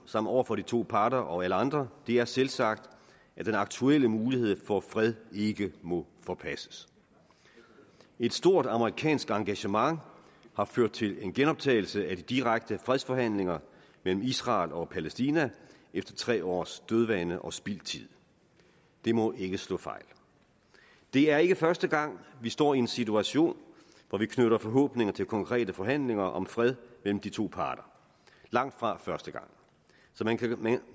som over for de to parter og alle andre er selvsagt at den aktuelle mulighed for fred ikke må forpasses et stort amerikansk engagement har ført til en genoptagelse af de direkte fredsforhandlinger mellem israel og palæstina efter tre års dødvande og spildt tid det må ikke slå fejl det er ikke første gang vi står i en situation hvor vi knytter forhåbninger til konkrete forhandlinger om fred mellem de to parter langtfra første gang så man kan med